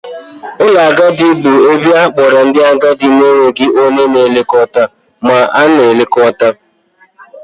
Ụlọ ndị agadi bụ ebe a na-akpọrọ ndị agadi na-enweghị onye na-elekọta ma na-elekọta.